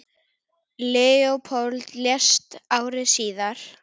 Leópold lést ári síðar.